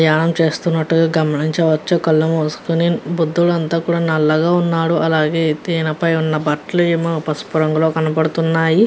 ద్యానం చెస్తునట్టుగా గమనించవచ్చు కల్లు మూసుకొని. బుధుడు అంట నలాగ్ ఉన్నారు. అలాగే తిన పై ఉన్న బట్టలు ఎమొ పసుపు రంగులో కనబడుతున్నాయి.